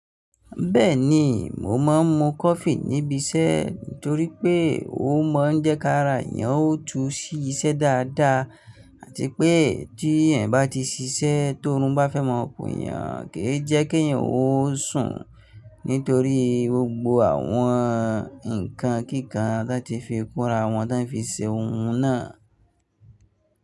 Bẹ́ẹ̀ni, mo máa ń mu coffee níbi iṣẹ́ nítorí pé ó mọ́ jẹ́ká ara èèyàn ó tún sí iṣẹ́ dáadáa àti pé tí èèyàn bá ti ṣiṣẹ́ tó run bá fẹ́mọ́ okùn èèyàn, kì í jẹ́kí èèyàn ó sùn nítorí gbogbo àwọn nǹkan kíkàn tí wọ́n ti fi kunra wọ́n tí wọ́n fi se ohun náà.